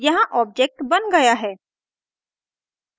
यहाँ ऑब्जेक्ट बन गया है